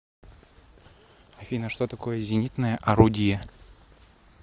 афина что такое зенитное орудие